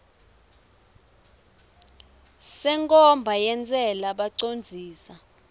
senkhomba yentsela bacondzisi